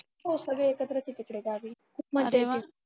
हो सगळे एकत्रच आहेत तिकडे गावी